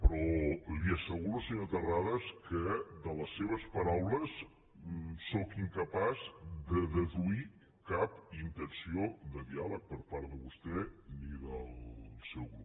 però li asseguro senyor terrades que de les seves paraules sóc incapaç de deduir cap intenció de diàleg per part de vostè ni del seu grup